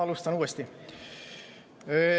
Alustan uuesti.